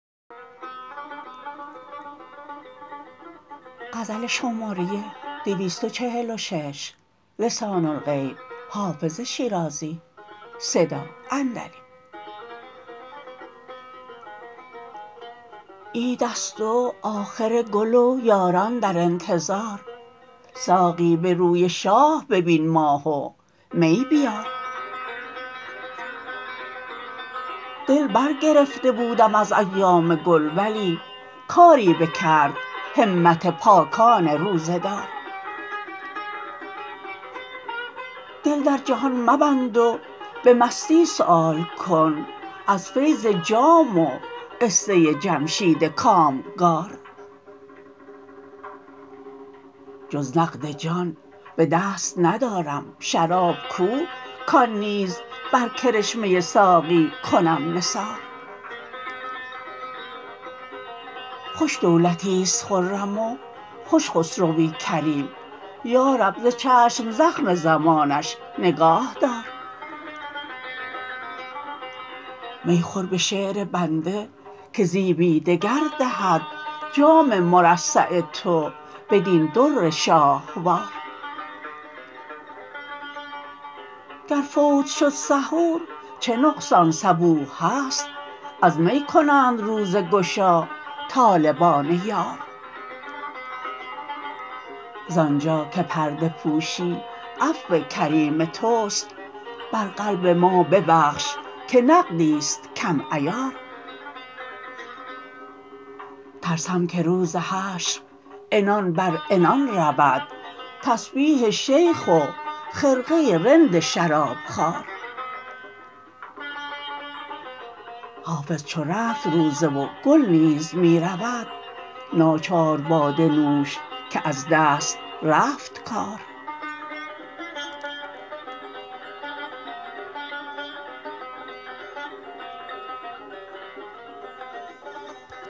عید است و آخر گل و یاران در انتظار ساقی به روی شاه ببین ماه و می بیار دل برگرفته بودم از ایام گل ولی کاری بکرد همت پاکان روزه دار دل در جهان مبند و به مستی سؤال کن از فیض جام و قصه جمشید کامگار جز نقد جان به دست ندارم شراب کو کان نیز بر کرشمه ساقی کنم نثار خوش دولتیست خرم و خوش خسروی کریم یا رب ز چشم زخم زمانش نگاه دار می خور به شعر بنده که زیبی دگر دهد جام مرصع تو بدین در شاهوار گر فوت شد سحور چه نقصان صبوح هست از می کنند روزه گشا طالبان یار زانجا که پرده پوشی عفو کریم توست بر قلب ما ببخش که نقدیست کم عیار ترسم که روز حشر عنان بر عنان رود تسبیح شیخ و خرقه رند شرابخوار حافظ چو رفت روزه و گل نیز می رود ناچار باده نوش که از دست رفت کار